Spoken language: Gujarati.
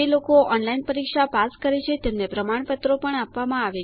જે લોકો ઓનલાઈન પરીક્ષા પાસ કરે છે તેમને પ્રમાણપત્રો આપવામાં આવે છે